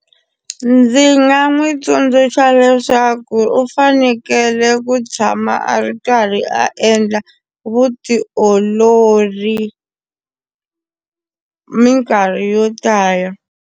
Ndzi nga n'wi tsundzuxa leswaku u fanekele ku tshama a ri karhi a endla vutiolori minkarhi yo tala.